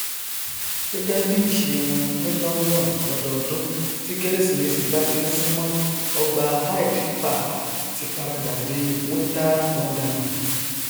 gẹgẹ bí ìṣe wọn ní lọndon lọdọọdún tí kérésìmesì bá ti nsúmọ ọgbà hyde park ti paradà di winter wanderland